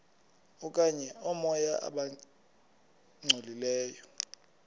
okanye oomoya abangcolileyo